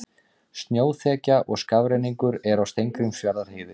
Snjóþekja og skafrenningur er á Steingrímsfjarðarheiði